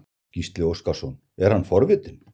Gísli Óskarsson: Er hann forvitinn?